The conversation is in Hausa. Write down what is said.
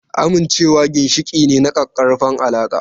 Amincewa ginshiƙi ne na ƙaƙƙarfan alaƙa.